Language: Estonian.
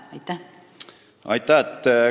Aitäh!